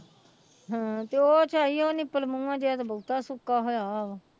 ਹਾਂ ਤੇ ਉਹ ਝਾਈ ਉਹ ਨਿਪਲ ਮੂੰਹ ਜਿਹਾ ਤੇ ਬਹੁਤਾ ਸੁੱਕਾ ਹੋਇਆ ਹੋਇਆ ਵਾ।